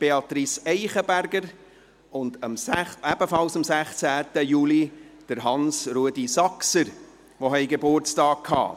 Beatrice Eichenberger, und ebenfalls am 16. Juli Hans-Rudolf Saxer, die Geburtstag hatten.